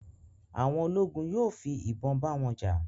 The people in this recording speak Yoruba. àwọn ologun yóò fi ibon ba wọn ja